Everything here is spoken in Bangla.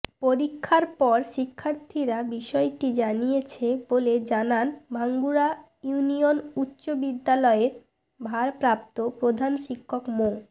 পরীক্ষার পর শিক্ষার্থীরা বিষয়টি জানিয়েছে বলে জানান ভাঙ্গুড়া ইউনিয়ন উচ্চ বিদ্যালয়ের ভারপ্রাপ্ত প্রধান শিক্ষক মো